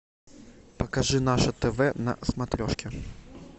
покажи наше тв на смотрешке